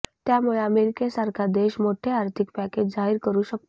त्यामुळे अमेरिकासारखा देश मोठे आर्थिक पॅकेज जाहीर करू शकतो